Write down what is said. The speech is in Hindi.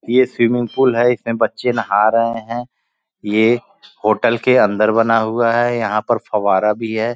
ये स्विमिंग पूल है। इसमें बच्चे नहा रहे हैं। ये होटल के अंदर बना हुआ है। यहाँ पर फब्बारा भी है।